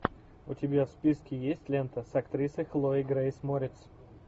у тебя в списке есть лента с актрисой хлоей грейс морец